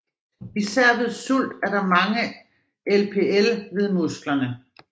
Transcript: Især ved sult er der mange LPL ved musklerne